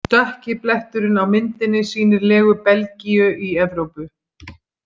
Dökki bletturinn á myndinni sýnir legu Belgíu í Evrópu.